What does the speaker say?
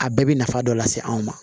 A bɛɛ bɛ nafa dɔ lase anw ma